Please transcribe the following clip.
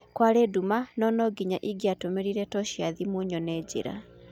Kwarĩ nduma, na nonginya igĩatũmĩrĩre tocĩ ya thimũ nyone njĩra